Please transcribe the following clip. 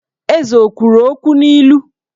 Eze o kwuru okwu n'ilu?